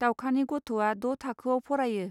दावखानि गथ'आ द' थाखोआव फरायो.